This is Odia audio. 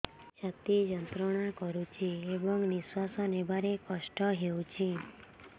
ଛାତି ଯନ୍ତ୍ରଣା କରୁଛି ଏବଂ ନିଶ୍ୱାସ ନେବାରେ କଷ୍ଟ ହେଉଛି